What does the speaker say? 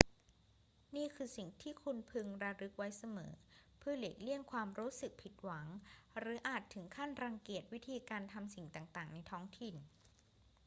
นี่คือสิ่งที่คุณพึงระลึกไว้เสมอเพื่อหลีกเลี่ยงความรู้สึกผิดหวังหรืออาจถึงขั้นรังเกียจวิธีการทำสิ่งต่าง ๆ ในท้องถิ่น